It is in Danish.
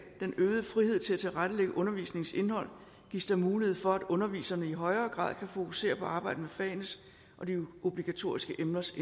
den øgede frihed til at tilrettelægge undervisningens indhold gives der mulighed for at underviserne i højere grad kan fokusere på arbejdet med fagenes og de obligatoriske emners